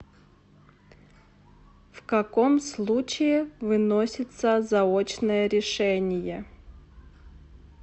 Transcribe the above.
в каком случае выносится заочное решение